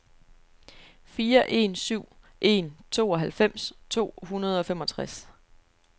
fire en syv en tooghalvfems to hundrede og femogtres